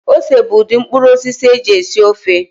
Ose bụ udị mkpụrụosisi a eji esi ofe